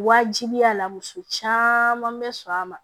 Wajibiya la muso caman bɛ sɔn a ma